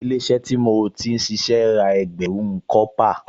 Ilé-iṣẹ́ tí mo ti ṣíṣe ra ẹgbẹ̀rún kọ́pà